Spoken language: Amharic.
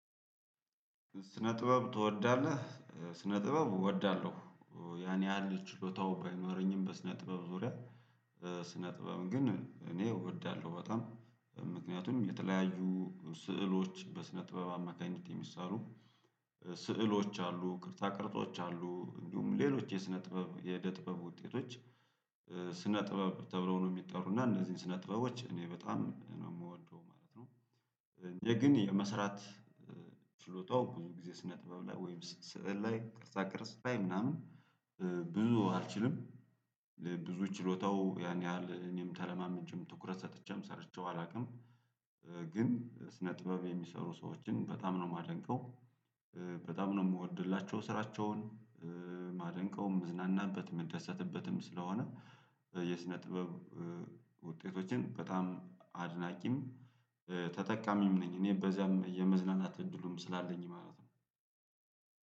ስነ ጥበብ ትወዳለህ? ስነ ጥበብ እወዳለሁ። ያን ያህል ችሎታውም ባይኖረኝም በስነ ጥበብ ዙሪያ። ስነ ጥበብ ግን እኔ እወዳለሁ በጣም ምክንያቱም የተለያዩ ስዕሎች በስነ ጥበብ አማካኝነት የሚሳሉ። ስዕሎች አሉ ቅርጻ ቅርጾች አሉ እንዲሁም ሌሎች የስነ ጥበብ የኢደ ጥበብ ውጤቶች። ስነ ጥበብ ተብሎ ነው የሚጠሩና እነዚህን ስነ ጥበቦች እኔ በጣም ነው የምወደው ማለት ነው። የግን የመስራት። ችሎታው ብዙ ጊዜ ስነ ጥበብ ላይ ወይም ስዕል ላይ ቅርጻ ቅርጽ ላይ ምናምን። ብዙ አልችልም። ብዙ ችሎታው ያን ያህል እኔም ተለማምጄም ትኩረት ሰጥቼ ሰርቼው አላውቅም። ግን ስነ ጥበብ የሚሰሩ ሰዎችን በጣም ነው ማደንቀው። በጣም ነው እምወድላቸው ስራቸውን ማደንቀውም መዝናናበት መደሰትበትም ስለሆነ። የስነ ጥበብ ውጤቶችን በጣም አድናቂም ተጠቃሚም ነኝ። እኔ በዚያም የመዝናናት እድሉም ስላለኝ ማለት ነው።